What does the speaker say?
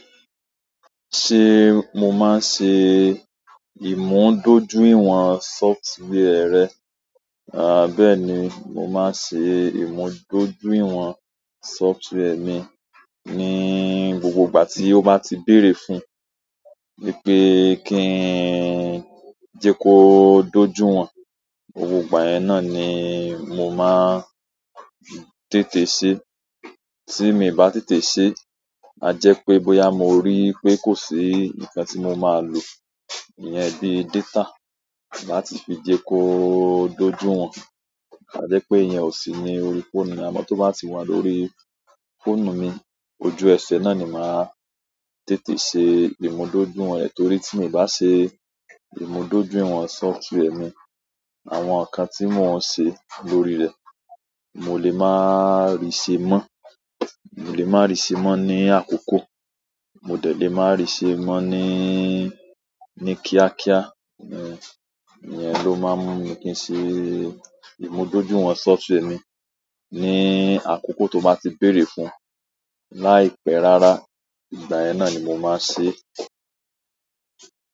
Ṣé mo máa n ṣe ìmúdójúìwọ̀n software rẹ? À bẹ́ẹ̀ni, mo máa n ṣe ìmúdójúìwọ̀n software mi ní gbogbo ìgbà tí ó bá ti bèrè fún, wípé kí n jẹ kó dójú wọ̀n. Gbogbo ìgbà yẹn náà ni mo máa tètè ṣe. Tí minì bá tètè ṣe, a jẹ pé bóyá mo rí pé kò sí nǹkan tí mo máa lò, ìyẹn bí data láti fi jẹ kó dójú wọ̀n. A jẹ pé ìyẹn ò sí ní orí fóònù, àmọ́ tó bá ti wà lórí fóònù mi, ojú ẹṣẹ̀ náà ni màá tètè ṣe ìmúdójúìwọ̀n rẹ̀ torí tí mi ì bá ṣe ìmúdójúìwọ̀n software mi, àwọn nǹkan tí mò n ṣe lórí rẹ̀, mo lè máa rí ṣe mọ́. Mo lè máa rí ṣe mọ́ ní àkókò, mo dẹ̀ lé máa rí ṣe mọ́ ní, ní kíákíá. Ìyẹn ló máa mú mi kí n ṣe ìmúdójúìwọ̀n software mi ní àkókò tó bá ti bèrè fún. Láìpẹ́ rárá ìgbà yẹn náà ni mo máa n ṣe é.